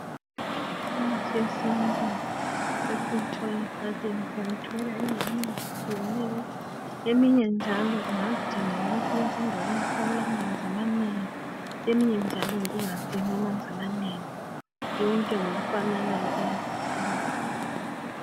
Imithi yesintu......siyayithola endaweni ezitshiyeneyo Eminye njalo ingadinga ukuthi ibesendaweni lapha okulamanzi amanengi. Eminye njalo, ingawadingi amanzi amanengi. Yonke ngokufananayo, iyasisiza.